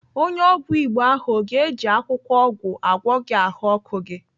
Onye ọgwụ Igbo ahụ ọ ga-eji akwụkwọ ọgwụ agwọ gị ahụọkụ gị?